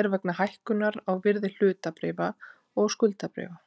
er vegna hækkunar á virði hlutabréfa og skuldabréfa?